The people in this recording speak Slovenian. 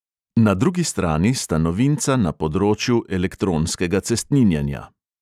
Na drugi strani sta novinca na področju elektronskega cestninjenja.